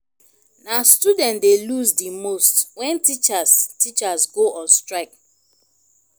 na students dey lose di most when teachers teachers go on strike.